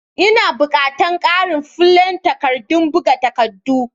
Ina bukatan ƙarin flen takardadon buga takaddun.